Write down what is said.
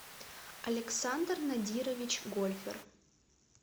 александр надирович гольфер